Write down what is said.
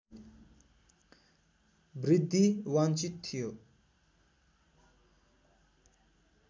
वृद्धि वान्छित थियो